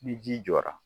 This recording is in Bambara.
Ni ji jɔra